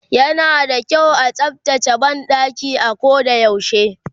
yana da kyau a tsaftace banɗaki a ko da yaushe